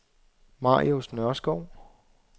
Marius Nørskov